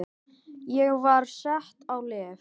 Ég var sett á lyf.